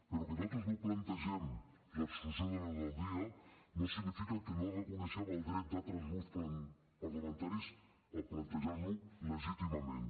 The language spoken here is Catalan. però que nosaltres no plantegem l’exclusió de l’ordre del dia no significa que no reconeguem el dret d’altres grups parlamentaris a plantejar lo legítimament